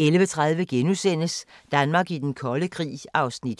1) 11:30: Danmark i den kolde krig (Afs. 5)*